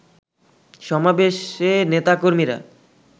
সমাবেশে নেতাকর্মীরা